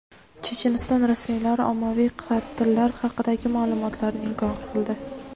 Checheniston rasmiylari ommaviy qatllar haqidagi ma’lumotlarni inkor qildi.